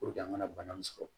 an ka na bana in sɔrɔ